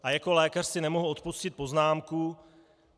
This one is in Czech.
A jako lékař si nemohu odpustit poznámku.